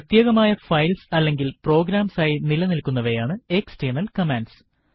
പ്രത്യേകമായ ഫൈൽസ് അല്ലെങ്കിൽ പ്രോഗ്രാംസ് ആയി നില നിൽക്കുന്നവയാണ് എക്സ്റ്റെർണൽ കമാൻഡ്സ്